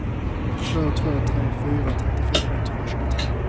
två två tre fyra trettiofem etthundratjugotre